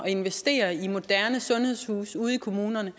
at investere i moderne sundhedshuse ude i kommunerne